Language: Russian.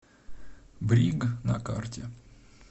бриг на карте